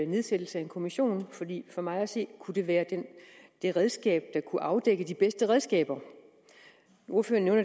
nedsættelsen af en kommission fordi for mig at se kunne det være det redskab der kunne afdække de bedste redskaber ordføreren